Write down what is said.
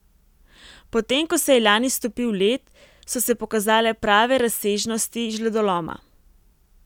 Potem ko se je lani stopil led, so se pokazale prave razsežnosti žledoloma.